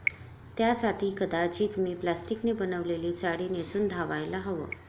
त्यासाठी कदाचित मी प्लास्टिकने बनवलेली साडी नेसून धावायला हवं'.